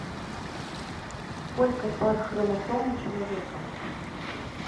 сколько пар хромосом у человека